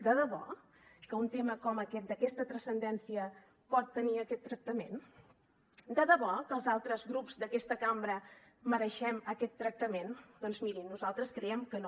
de debò que un tema com aquest d’aquesta transcendència pot tenir aquest tractament de debò que els altres grups d’aquesta cambra mereixem aquest tractament doncs mirin nosaltres creiem que no